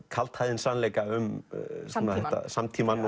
kaldhæðinn sannleika um samtímann